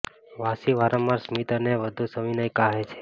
વાસી વારંવાર સ્મિત અને વધુ સવિનય કહે છે